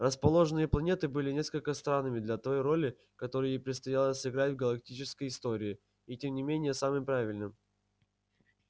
расположенные планеты было несколько странными для той роли которую ей предстояло сыграть в галактической истории и тем не менее самым правильным